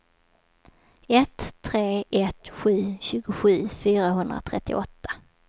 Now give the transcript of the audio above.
ett tre ett sju tjugosju fyrahundratrettioåtta